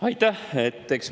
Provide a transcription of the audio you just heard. Aitäh!